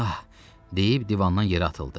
Ax, deyib divandan yerə atıldı.